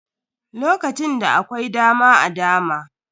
Lokacin da akwai dama a dama.